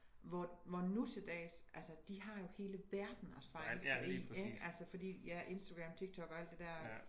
Hvor hvor nu til dags altså de har jo hele verden at spejle sig i ik altså fordi ja Instagram TikTok og alt det dér